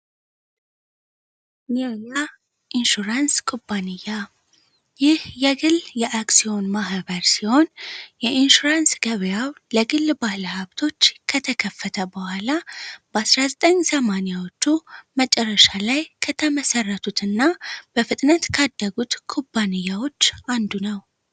ኔያ ኢንሹራንስ ኩባንያ ይህ የግል የአክሲዮን ማህበር ሲሆን የኢንሹራንስ ገበያው ለግል ባህለሀብቶች ከተከፈተ በኋላ በ19800ዎቹ መጨረሻ ላይ ከተመሠረቱት እና በፍጥነት ካደጉት ኩባንያዎች አንዱ ነው።